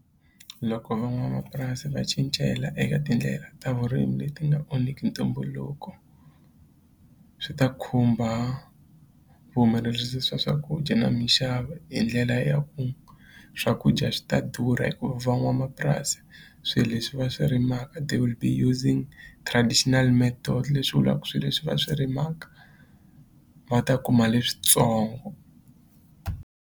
Loko van'wamapurasi va cincela eka tindlela ta vurimi leti nga onhiki ntumbuluko swi ta khumba vuhumelerisi swa swakudya na mixavo hi ndlela ya ku swakudya swi ta durha hikuva van'wamapurasi swi leswi va swi rimaka they will be using traditional method leswi vulaka swi leswi va swi rimaka va ta kuma leswitsongo.